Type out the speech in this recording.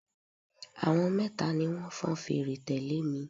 Àwọn mẹ́ta ni wọn fọn fèrè tẹ́lẹ̀ mi.